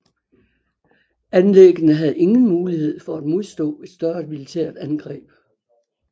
Anlæggene havde ingen mulighed for at modstå et større militært angreb